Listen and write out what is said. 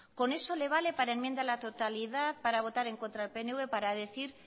con eso le vale para enmienda a la totalidad para votar en contra del pnv para decir